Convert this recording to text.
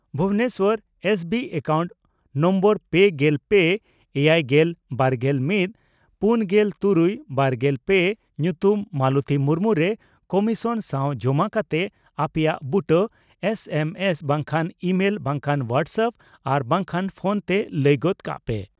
Bhubaneswar SBI account number ᱯᱮᱜᱮᱞ ᱯᱮ ,ᱮᱭᱟᱭᱜᱮᱞ ,ᱵᱟᱨᱜᱮᱞ ᱢᱤᱛ ,ᱯᱩᱱᱜᱮᱞ ᱛᱩᱨᱩᱭ ,ᱵᱟᱨᱜᱮᱞ ᱯᱮ ᱧᱩᱛᱩᱢ ᱢᱟᱞᱚᱛᱤ ᱢᱩᱨᱢᱩ ᱨᱮ ᱠᱚᱢᱤᱥᱚᱱ ᱥᱟᱣ ᱡᱚᱢᱟ ᱠᱟᱛᱮ ᱟᱯᱮᱭᱟᱜ ᱵᱩᱴᱟᱹ ᱮᱥ ᱮᱢ ᱮᱥ ᱵᱟᱝᱠᱷᱟᱱ ᱤᱢᱮᱞ ᱵᱟᱝᱠᱷᱟᱱ ᱦᱚᱣᱟᱴᱥᱮᱯᱯ ᱟᱨ ᱵᱟᱝᱠᱷᱟᱱ ᱯᱷᱚᱱᱛᱮ ᱞᱟᱹᱭ ᱜᱚᱫ ᱠᱟᱜ ᱯᱮ ᱾